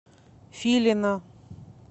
филина